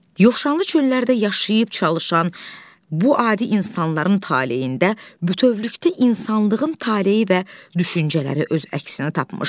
Yoxşanlı çöllərdə yaşayıb çalışan bu adi insanların taleyində bütövlükdə insanlığın taleyi və düşüncələri öz əksini tapmışdı.